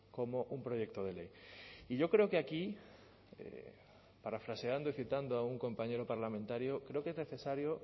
como un proyecto de ley y yo creo que aquí parafraseando y citando a un compañero parlamentario creo que es necesario